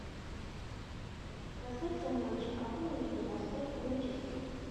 трансляция матча апл между лестером и манчестером